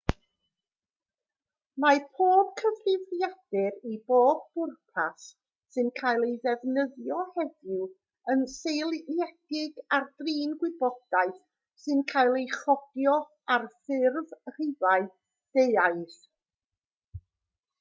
mae pob cyfrifiadur i bob pwrpas sy'n cael ei ddefnyddio heddiw yn seiliedig ar drin gwybodaeth sy'n cael ei chodio ar ffurf rhifau deuaidd